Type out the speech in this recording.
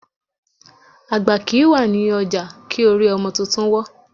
Àgbà kìí wà ní ọjà kí orí ọmọ tuntun wọ́.